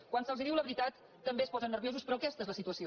quan se’ls diu la veritat també es posen ner·viosos però aquesta és la situació